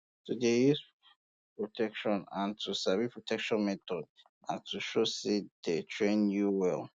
to dey use um protection um and to sabi protection methods na to show say you dey train you um well